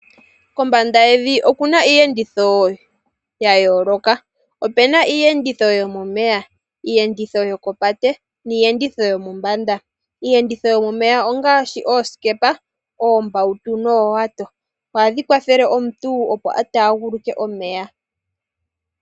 Kombanda yevi oku na iiyenditho ya yooloka. Opu na iiyenditho yomomeya, iiyenditho yokopate niiyenditho yomombanda. Iiyenditho yomomeya ongaashi oosikepa, oombautu noowato. Ohadhi kwathele omuntu opo a taaguluke omeya.